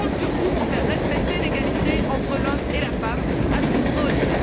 Je compte sur vous pour faire respecter l'égalité entre l'homme et la femme, à ce niveau aussi.